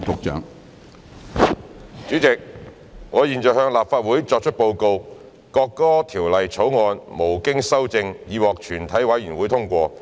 主席，我現在向立法會作出報告：《國歌條例草案》無經修正已獲全體委員會通過。